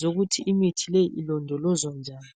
zokuthi imithi leyi ilondolozwa njani.